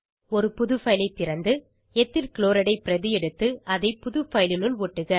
ஒரு புது பைல் ஐ திறந்து எத்தில் க்ளோரைட் ஐ பிரதி எடுத்து அதை புது பைல் னுள் ஒட்டுக